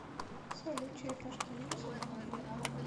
салют черепашки ниндзя новый фильм